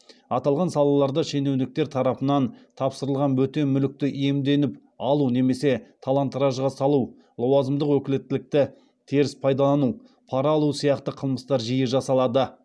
аталған салаларда шенеуніктер тарапынан тапсырылған бөтен мүлікті иемденіп алу немесе талан таражға салу лауазымдық өкілеттікті теріс пайдалану пара алу сияқты қылмыстар жиі жасалады